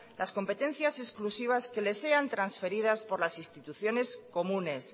las competencias exclusivas que les sean transferidas por las instituciones comunes